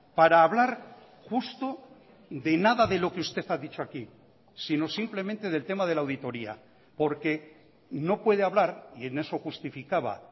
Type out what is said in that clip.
para hablar justo de nada de lo que usted ha dicho aquí sino simplemente del tema de la auditoría porque no puede hablar y en eso justificaba